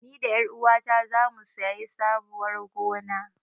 Ni da ƴaruwata zamu sayi sabuwar gona.